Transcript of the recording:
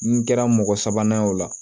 N kɛra mɔgɔ sabanan ye o la